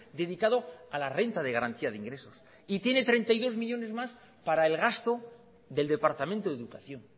dedicado a la renta de garantía de ingresos y tiene treinta y dos millónes más para el gasto del departamento de educación